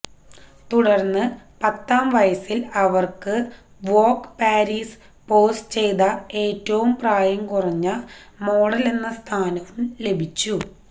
തുടര്ന്ന് പത്താം വയസില് അവര്ക്ക് വോഗ് പാരീസിന് പോസ് ചെയ്ത ഏറ്റവു പ്രായം കുറഞ്ഞ മോഡലെന്ന സ്ഥാനവും ലഭിച്ചു